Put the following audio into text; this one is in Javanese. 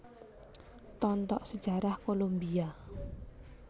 Tontok Sejarah Kolombia